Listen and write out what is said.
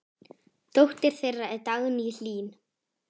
Dóttir þeirra er Dagný Hlín.